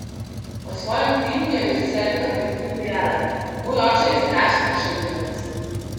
O svojem filmu je režiserka med drugim dejala: "Moj oče je strasten šaljivec.